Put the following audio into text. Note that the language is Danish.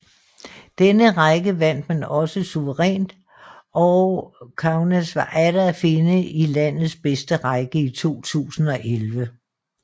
Denne række vandt man også suverænt og Kaunas var atter at finde i landets bedste række i 2011